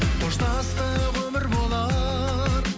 қоштастық өмір болар